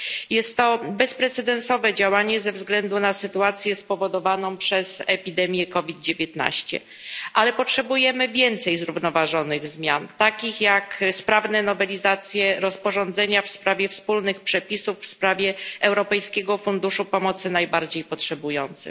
Jest to bezprecedensowe działanie ze względu na sytuację spowodowaną przez epidemię COVID 19, ale potrzebujemy więcej zrównoważonych zmian, takich jak sprawna nowelizacja rozporządzenia dotyczącego wspólnych przepisów w sprawie Europejskiego Funduszu Pomocy Najbardziej Potrzebującym.